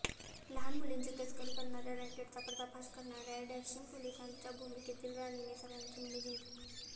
लहान मुलींची तस्करी करणाऱ्या रॅकेटचा पर्दाफाश करणाऱ्या डॅशिंग पोलिसाच्या भूमिकेतील राणीने सगळ्यांची मने जिकंली